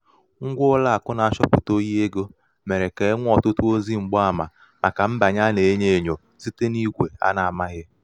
ṅgwa ụlọàkụ̀ na-achọpụ̀ta ohi ego mèrè kà e nwee ọtụtụ ozi mgbaàmà màkà mbànye a nà-ènyō ènyò site n’igwè a nā-amāghị̀